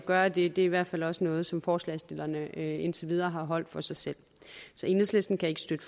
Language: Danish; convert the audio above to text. gøre det er i hvert fald også noget som forslagsstillerne indtil videre har holdt for sig selv enhedslisten kan ikke støtte